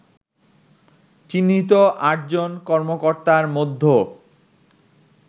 চিহ্নিত আটজন কর্মকর্তার মধ্য